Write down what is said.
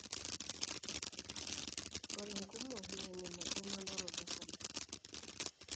Ore inkumok na enyamali emanaroto osarge.